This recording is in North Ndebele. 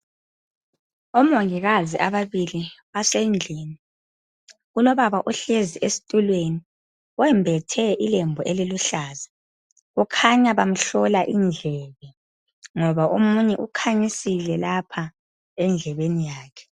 Omongikazi ababili basendlini Kulobaba ohlezi esitulweni wembethe ilembu eliluhlaza .Kukhanya bamhlola indlebe ngoba omunye ukhanyisile lapha endlebeni yakhe